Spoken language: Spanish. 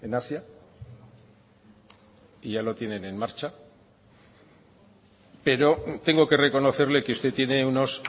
asia y ya lo tienen en marcha pero tengo que reconocerle que usted tiene unos